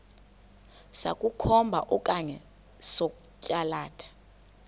sokukhomba okanye sokwalatha